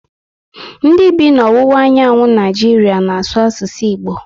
Ndị bi na ọwụwa anyanwụ Naịjiria n'asu asụsụ Igbo